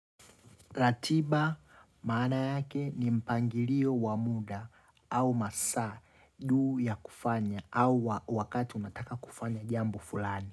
Ratiba maana yake ni mpangilio wa muda au masaa duu ya kufanya au wakati unataka kufanya jambo fulani.